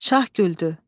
Şah güldü.